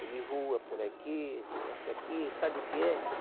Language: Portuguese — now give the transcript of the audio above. Ele voa por aqui, entra aqui, sabe o que é?